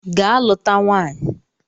Ga luta nwaanyị!